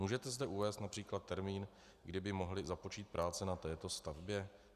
Můžete zde uvést například termín, kdy by mohly započít práce na této stavbě?